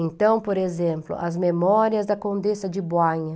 Então, por exemplo, as memórias da Condessa de.